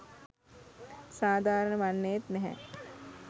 සාධාරණ වන්නේත් නැහැ.